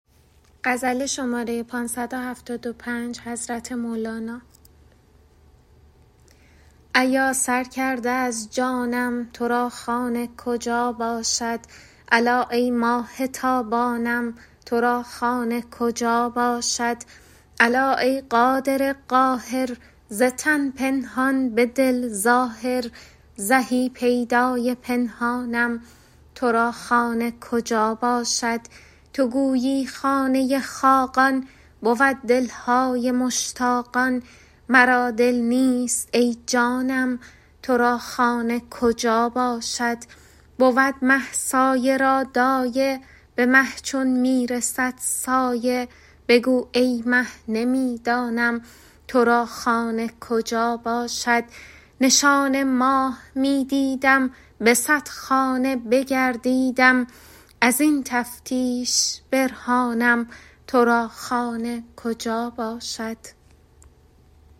ایا سر کرده از جانم تو را خانه کجا باشد الا ای ماه تابانم تو را خانه کجا باشد الا ای قادر قاهر ز تن پنهان به دل ظاهر زهی پیدای پنهانم تو را خانه کجا باشد تو گویی خانه خاقان بود دل های مشتاقان مرا دل نیست ای جانم تو را خانه کجا باشد بود مه سایه را دایه به مه چون می رسد سایه بگو ای مه نمی دانم تو را خانه کجا باشد نشان ماه می دیدم به صد خانه بگردیدم از این تفتیش برهانم تو را خانه کجا باشد